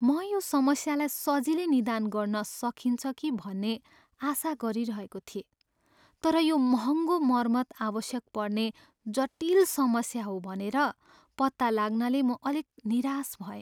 म यो समस्यालाई सजिलै निदान गर्न सकिन्छ कि भन्ने आशा गरिरहेको थिएँ, तर यो महँगो मर्मत आवश्यक पर्ने जटिल समस्या हो भनेर पत्ता लाग्नाले म अलिक निराश भएँ।